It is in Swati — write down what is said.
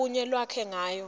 lubuye lwakhe ngayo